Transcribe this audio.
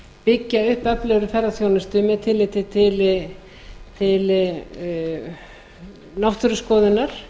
byggja upp öflugri ferðaþjónustu með tilliti til náttúruskoðunar